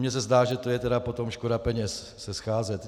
Mně se zdá, že to je tedy potom škoda peněz se scházet.